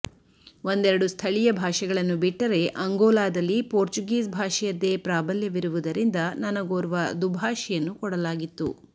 ಒಂದೆರಡು ಸ್ಥಳೀಯ ಭಾಷೆಗಳನ್ನು ಬಿಟ್ಟರೆ ಅಂಗೋಲಾದಲ್ಲಿ ಪೋರ್ಚುಗೀಸ್ ಭಾಷೆಯದ್ದೇ ಪ್ರಾಬಲ್ಯವಿರುವುದರಿಂದ ನನಗೋರ್ವ ದುಭಾಷಿಯನ್ನು ಕೊಡಲಾಗಿತ್ತು